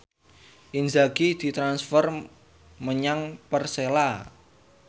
Inzaghi ditransfer menyang Persela